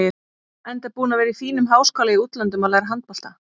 Enda búinn að vera í fínum háskóla í útlöndum að læra handbolta.